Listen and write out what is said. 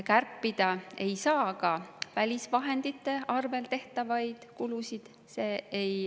Kärpida ei saa ka välisvahendite arvel tehtavaid kulusid.